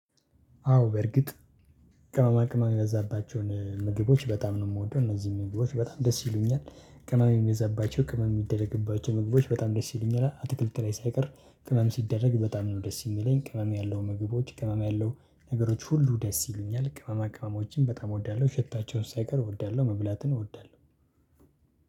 አዎ በርግጥ ቅመማ ቅመማ የበዛባቸውን ምግቦች በጣም ነው የምወደው እነዚህም ምግቦች በጣም ደስ ይሉኛል ቅመም የሚበዛባቸው ቅመም የሚደረግባቸው ምግቦች በጣም ደስ ይለኛል። አትክልት ላይ ሳይቀር ቅመም ሲደረግ በጣም ነው ደስ የሚለኝ ቅመም ያለው ምግቦች ቅመም ያለው ነገሮች ሁሉ ደስ ይሉኛል። ቅመማ ቅመሞችን በጣም እወዳለሁ ሸታቸውን ሳይቀር እወዳለሁ መብላትን እወዳለሁ።